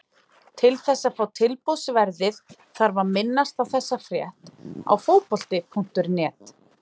Til þess að fá tilboðsverðið þarf að minnast á þessa frétt á Fótbolti.net.